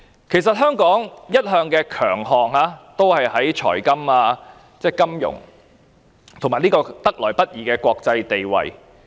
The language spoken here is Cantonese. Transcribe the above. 其實香港的強項一向是在財務金融方面，以及得來不易的國際地位。